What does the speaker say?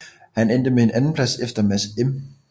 Han endte med en andenplads efter Mads M